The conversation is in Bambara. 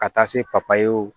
Ka taa se papayew